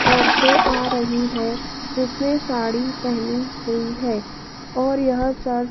औरतें आ रही है जिसने साड़ी पहनी हुई है और यह चर्च--